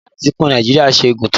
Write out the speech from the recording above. Báwo ni ìlà etíkun Nàìjíríà ṣe gùn tó?